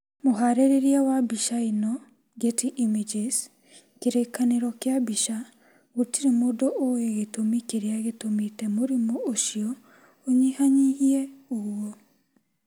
Mũharĩrĩria wa mbica ĩno, Getty Images Kĩrĩkanĩro kĩa mbica, Gũtirĩ mũndũ ũĩ gĩtũmi kĩrĩa gĩtũmĩte mũrimũ ũcio ũnyihanyihie ũguo.